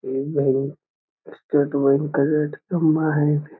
इ भी state bank के --